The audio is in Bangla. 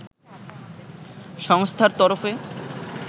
সংস্থার তরফে